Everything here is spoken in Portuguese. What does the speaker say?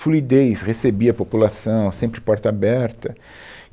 fluidez, recebia a população, sempre porta aberta.